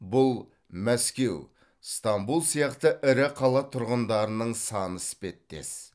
бұл мәскеу стамбұл сияқты ірі қала тұрғындарының саны іспеттес